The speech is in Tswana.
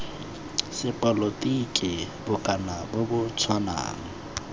sepolotiki bokana bo bo tshwanang